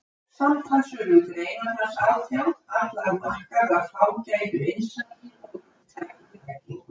Samtals urðu greinar hans átján, allar markaðar fágætu innsæi og víðtækri þekkingu.